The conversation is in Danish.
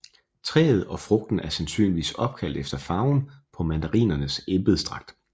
Træet og frugten er sandsynligvis opkaldt efter farven på mandarinernes embedsdragt